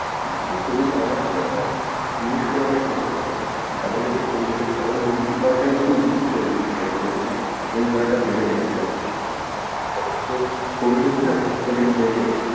আসলে covid এমন একটা মানে জিনিস হয়ে গেছে মানে যাদের যাদের covid হয়েছে সবার immunity power টাকে খুব weak করে দিয়ে চলে গেছে ওইজন্যে রোগ জালা টা বেড়ে গেছে যাদের যাদের covid হয়েছে না first second wave এ,